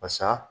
Basa